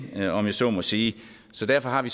om jeg så må sige så derfor har vi